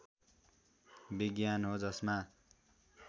विज्ञान हो जसमा